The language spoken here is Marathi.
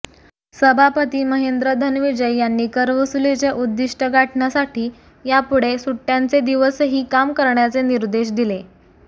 सभापती महेंद्र धनविजय यांनी करवसुलीचे उद्दिष्ट गाठण्यासाठी यापुढे सुट्याचे दिवसही काम करण्याचे निर्देश दिले